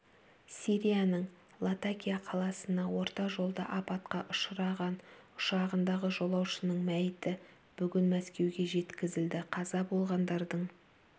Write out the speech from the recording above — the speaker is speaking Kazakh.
сирияның латакия қаласына орта жолда апатқа ұшыраған ұшағындағы жолаушының мәйіті бүгін мәскеуге жеткізілді қаза болғандардың